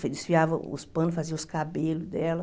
Desfiava os panos, fazia os cabelos dela.